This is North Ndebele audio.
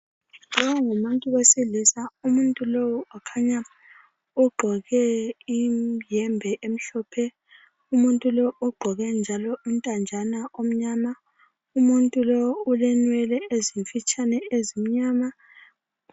Nxa ungumuntu wesilisa. Umuntu lowu ukhanya ugqoke iyembe emhlophe, umuntu lo ogqoke njalo intanjana omnyama, umuntu lowu ulenwele ezimfitshane ezimnyama.